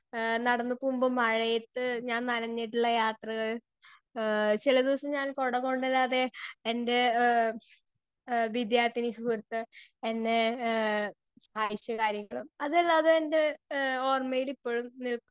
speaker 2 ഏഹ് നടന്നു പോവുമ്പോ മഴയത്ത് ഞാൻ നഞ്ഞഞ്ഞിട്ടുള്ള യാത്രകൾ ഏഹ് ചെല ദിവസം ഞാൻ കൊട കൊണ്ടരാതെ എൻ്റെ എഹ് എഹ് വിദ്യാർത്ഥി സുഹൃത്ത് എന്നെ എഹ് സഹായിച്ചതായിരിക്കും അതല്ലാതെ എൻ്റെ എഹ് ഓർമയിൽ ഇപ്പഴും നിൽക്കുന്ന